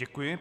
Děkuji.